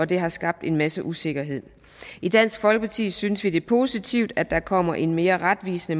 det har skabt en masse usikkerhed i dansk folkeparti synes vi det er positivt at der kommer en mere retvisende